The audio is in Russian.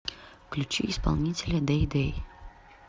включи исполнителя дэй дэй